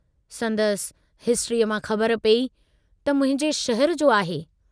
संदसि हिस्ट्रीअ मां ख़बर पेई त मुंहिंजे शहर जो आहे।